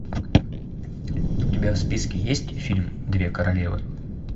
у тебя в списке есть фильм две королевы